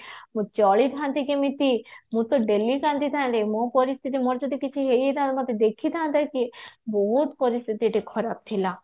ମୁଁ ଚଲିଥାନ୍ତି କେମିତି ମୁଁ ତ daily କାନ୍ଦିଥାନ୍ତି ମୋ ପରିସ୍ଥିତି ମୋର ଯଦି କିଛି ହେଇ ଯାଇଥାଆନ୍ତା ତ ଦେଖିଥାନ୍ତେ ସିଏ ବହୁତ ପରିସ୍ଥିତି ଏଇଠି ଖରାପ ଥିଲା